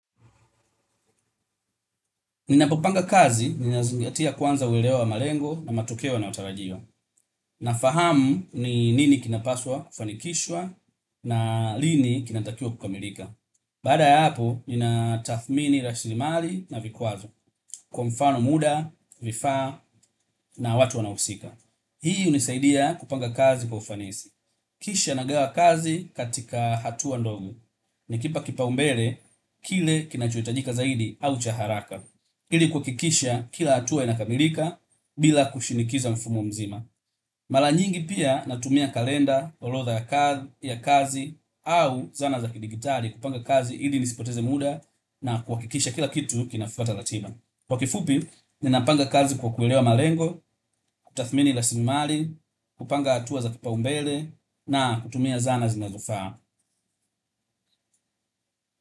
Ninapopanga kazi ninazingatia kwanza uelewa na malengo na matokeo yanayotarajiwa. Nafahamu ni nini kinapaswa kufanikishwa na lini kinatakiwa kukamilika. Baada ya hapo, ninatathmini, raslimali na vikwazo. Kwa mfano muda, vifaa na watu wanaohusika. Hii unisaidia kupanga kazi kufanisi. Kisha nagawa kazi katika hatua ndogo. Nakipa kipaumbele kile kinachohitajika zaidi au cha haraka. Ili kuhakikisha kila hatua inakamilika bila kushinikiza mfumo mzima. Mara nyingi pia natumia kalenda, orodha ya kazi, au zana za kidijitali kupanga kazi ili nisipoteze muda na kuhakikisha kila kitu kinafuata ratiba. Kwa kifupi, ninapanga kazi kwa kuelewa malengo, kutathmini raslimali, kupanga hatua za kipaumbele na kutumia zana zinazofaa.